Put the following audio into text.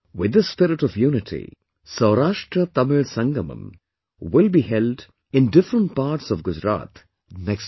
With this spirit of unity, 'SaurashtraTamil Sangamam' will be held in different parts of Gujarat next month